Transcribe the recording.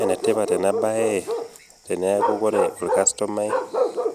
Ene tipat ena baye teneaku ore olkastomai